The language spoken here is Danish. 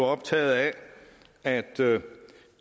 optaget af at